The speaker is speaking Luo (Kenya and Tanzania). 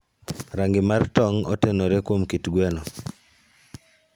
Rangi mar tong' otenore kuom kit gweno.